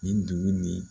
Nin dugu nin